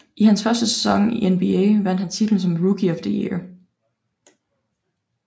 I hans første sæson i NBA vandt han titlen som Rookie of the year